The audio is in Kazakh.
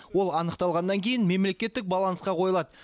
ол анықталғаннан кейін мемлекеттік балансқа қойылады